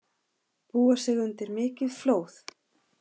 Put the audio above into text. Búa sig undir mikið flóð